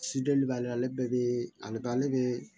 b'ale ale bɛɛ bɛ ale bɛ